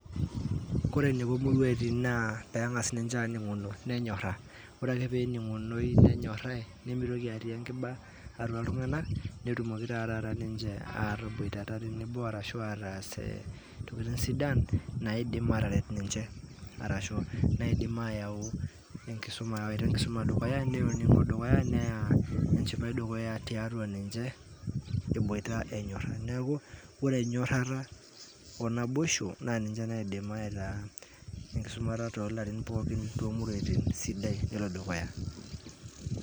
Ore eneiko muruatin naa pengasa ninche aninguno nenyoraa nemeitoki atii enkiba atua ltunganak nemeitoki ataboitata tenebo arashu aas sidan naidim ataret ninche arashu nemeitoki aya enkisuma boo neaku ore enyorara onaiboisha na ninche naidim tomuruatin sidan pelo dukuya